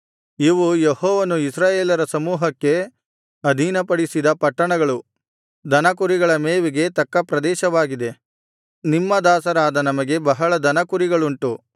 ಇವು ಯೆಹೋವನು ಇಸ್ರಾಯೇಲರ ಸಮೂಹಕ್ಕೆ ಅಧೀನಪಡಿಸಿದ ಪಟ್ಟಣಗಳು ದನಕುರಿಗಳ ಮೇವಿಗೆ ತಕ್ಕ ಪ್ರದೇಶವಾಗಿದೆ ನಿಮ್ಮ ದಾಸರಾದ ನಮಗೆ ಬಹಳ ದನ ಕುರಿಗಳುಂಟು